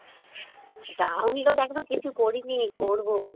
download এখনো কিছু করিনি, করবো